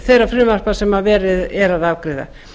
þeirra frumvarpa sem verið er að afgreiða